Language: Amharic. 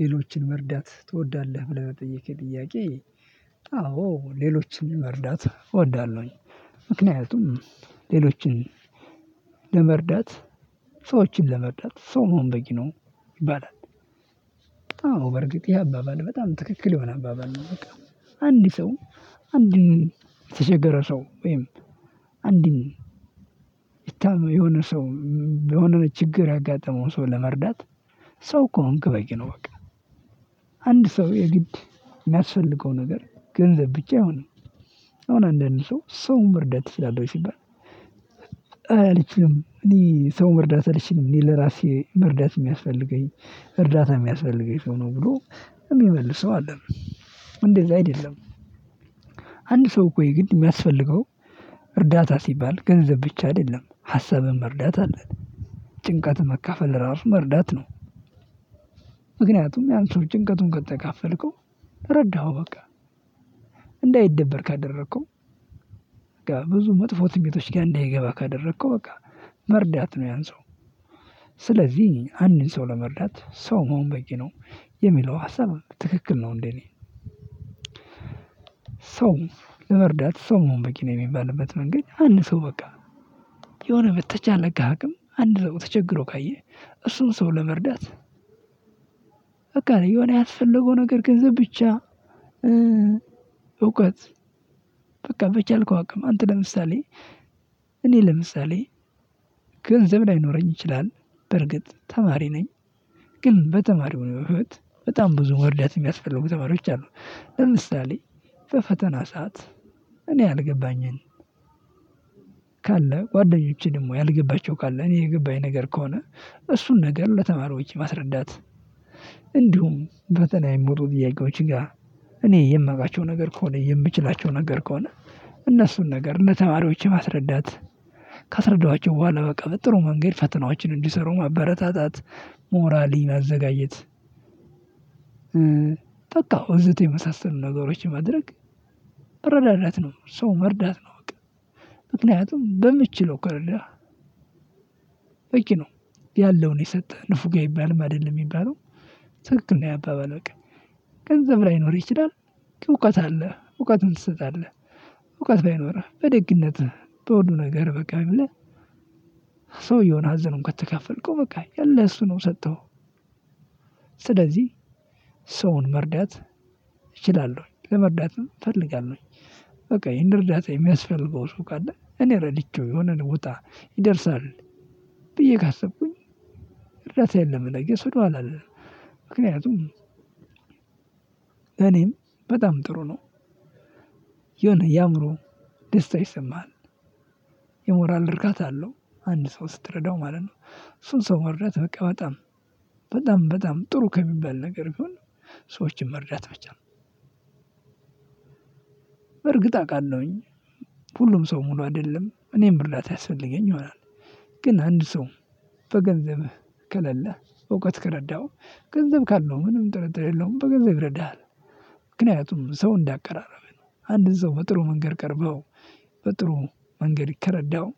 ሌሎችን መርዳት ትወዳለህ? ብለህ ለጠየከኝ ጥያቄ አዎ ሌሎችን መርዳት እወዳለሁኝ። ምክንያቱም ሌሎችን ለመርዳት ሰዎችን ለመርዳት ሰው መሆን በቂ ነው ይባላል። አዎ በእርግጥ ይሄ አባባል በጣም ትክክል የሆነ አባባል ነው። በቃ አንድ ሰው አንድን የተቸገረ ሰው ወይም አንድን የሆነ ሰው በሆነ ነው ችግር ያጋጠመው ሰው ለመርዳት ሰው ከሆንክ በቂ ነው በቃ። አንድ ሰው የግድ የሚያስፈልገው ነገር ገንዘብ ብቻ አይሆንም አሁን አንዳንድ ሰውን መርዳት ትችላለህ ወይ? ሲባል አይ አልችልም እኔ ሰው መርዳት አልችልም እኔ ለእራሴ መረዳት የሚያስፈልገኝ እርዳታ የሚያስፈልገኝ ሰው ነው ብሎ የሚመልሰው አለ። እንደዛ አይደለም። አንድ ሰው እኮ የግድ የሚያስፈልገው እርዳታ ሲባል ገንዘብ ብቻ አይደለም ሀሳብም እርዳታ ነው። ጭንቀትን መካፈል እራሱ መርዳት ነው። ምክንያቱም ያን ሰው ጭንቀቱን ከተካፈልከው ረዳኸው በቃ ካደረከው በቃ ብዙ መጥፎ ትንቢቶች ጋር እንዳይገባ ካደረከው በቃ መርዳት ነው። ያን ሰው ስለዚህ አንድን ሰው ለመርዳት ሰው መሆን በቂ ነው። የሚለው ሀሳብ ትክክል ነው እንዴ? እኔ ሰውን ለመርዳት ሰው መሆን በቂ ነው የሚባልበት መንገድ አንድ ሰው በቃ የሆነ በተቻለኝ አቅም አንድ ሰው ተቸግሮ ካየህ እሱን ሰው ለመርዳት በቃ የሆነ ያስፈለገው ነገር ገንዘብ ብቻ እውቀት በቃ በቻልከው አቅም አንተ ለምሳሌ እኔ ለምሳሌ ገንዘብ ላይኖረኝ ይችላል በእርግጥ ተማሪ ነኝ። ግን በተማሪው ህይወት በጣም ብዙ መርዳት የሚያስፈልጉ ተማሪዎች አሉ። ለምሳሌ በፈተና ሰዓት እኔ ያልገባኝን ካለ ጓደኞቼ ደግሞ ያልገባቸው ካለ እኔ የገባኝ ነገር ከሆነ እሱን ነገር ለተማሪዎች ማስረዳት። እንዲሁም ፈተና የወጡ ጥያቄዎች ጋር እኔ የማውቃቸው ነገር ከሆነ የምችላቸው ነገር ከሆነ እነሱን ነገር ለተማሪዎች ማስረዳት ካስረዳኋቸው በኋላ በቃ በጥሩ መንገድ ፈተናዎችን እንዲሰሩ ማበረታታት ሞራሊ ማዘጋጀት። ወዘተ የመሳሰሉ ነገሮችን ማድረግ መረዳዳት ነው ሰው መርዳት ነው። እውቀት ምክንያቱም በምትችለው ከረዳህ በቂ ነው። ያለውን የሰጠ ንፉግ አይባልም አይደለም የሚባለው ትክክል ነው። ይሄ አባባል በቃ ገንዘብ ላይኖርህ ይችላል እውቀት አለህ እውቀትህን ትሰጣለህ እውቀት ባይኖርህ በደግነት በሁሉ ነገር በቃ ብለህ ሰውዬውን ሀዘኑን ከተካፈልከው በቃ ያለህ እሱ ነው ሰጠኸው። ስለዚህ ሰውን መርዳት እችላለሁኝ ለመርዳትም እፈልጋለሁኝ። በቃ የእኔን እርዳታ የሚያስፈልገው ሰው ካለ እኔ ረድቼው የሆነን ውጣ ይደርሳል ብዬ ካሰብኩኝ እርዳታዬን ለመለገስ ወደኋላ አልልም። ምክንያቱም ለእኔም በጣም ጥሩ ነው የሆነ የአእምሮ ደስታ ይሰማሃል። የሞራል እርካታ አለው አንድን ሰው ስትረዳው ማለት ነው። እሱን ሰው መርዳት በቃ በጣም በጣም በጣም ጥሩ ከሚባል ነገር ይሁን። ሰዎችን መርዳት ብቻ ነው እርግጥ አውቃለሁኝ ሁሉም ሰው ሙሉ አይደለም እኔም እርዳታ ያስፈልገኝ ይሆናል። ግን አንድ ሰው በገንዘብህ ከሌለህ በእውቀት ከረዳኸው ገንዘብ ካለው ምንም ጥርጥር የለውም በገንዘብ ይረዳኸል። ምክንያቱም ሰው እንዳቀራረብህ ነው አንድን ሰው በጥሩ መንገድ ቀርበው በጥሩ መንገድ ከረዳሃው